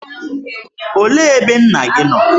Olee ebe nna gị nọ?